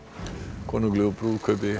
konunglegu brúðkaupi